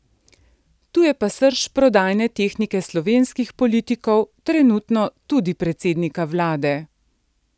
Tu je pa srž prodajne tehnike slovenskih politikov, trenutno tudi predsednika vlade.